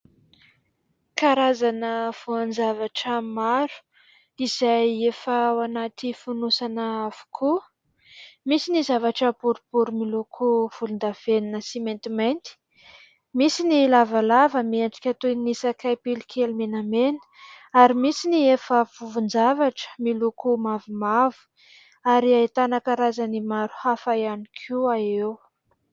Karazana voan-javatra maro izay efa ao anaty fonosana avokoa: misy ny zavatra boribory miloko volon-davenina sy maintimainty, misy ny lavalava miendrika toy ny sakay pilo kely menamena ary misy ny efa vovon-javatra miloko mavomavo. Ary ahitana karazany maro hafa ihany koa eo.